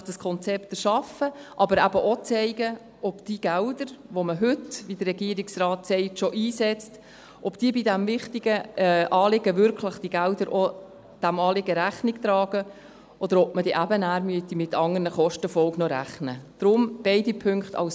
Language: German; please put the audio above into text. Nämlich: dieses Konzept erschaffen, aber auch zeigen, ob die Gelder, die man heute schon einsetzt, wie der Regierungsrat sagt, diesem wichtigen Anliegen wirklich Rechnung tragen, oder ob man noch mit anderen Kostenfolgen rechnen muss.